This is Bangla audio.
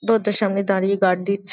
দরজার সামনে দাঁড়িয়ে গার্ড দিছ --